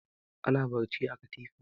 Ana barci a katifa.